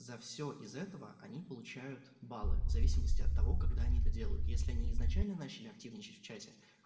за все из этого они получают баллы в зависимости от того когда они это делают если они изначально начали активничать в чате